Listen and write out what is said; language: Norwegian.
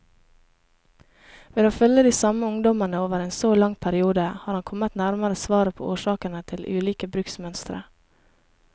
Ved å følge de samme ungdommene over en så lang periode, har han kommet nærmere svaret på årsakene til ulike bruksmønstre.